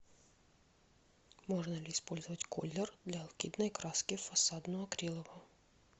можно ли использовать коллер для алкидной краски в фасадную акриловую